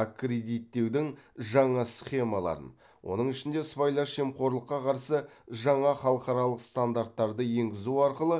аккредиттеудің жаңа схемаларын оның ішінде сыбайлас жемқорлыққа қарсы жаңа халықаралық стандарттарды енгізу арқылы